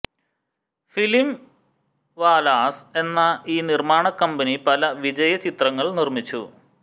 film വാലാസ് എന്ന ഈ നിർമ്മാണ കമ്പനി പല വിജയ ചിത്രങ്ങൾ നിർമ്മിച്ചു